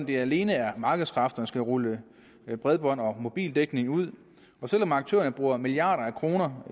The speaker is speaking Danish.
det alene er markedskræfterne der skal rulle bredbånd og mobildækning ud og selv om aktørerne bruger milliarder af kroner